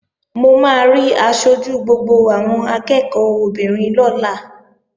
Mo máa rí aṣojú gbogbo àwọn akẹ́ẹ̀kọ́ obìnrin lọ́la